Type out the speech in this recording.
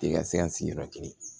I ka se ka sigiyɔrɔ kelen